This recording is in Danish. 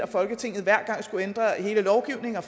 folketinget hver gang skulle ændre hele lovgivninger